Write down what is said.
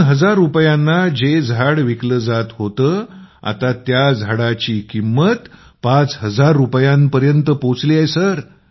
२००० रूपयांना झाड विकत होते कघीकधी आता त्या झाडाची किमत ५००० रूपयांपर्यंत वर पोहचली आहे